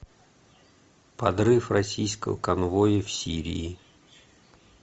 подрыв российского конвоя в сирии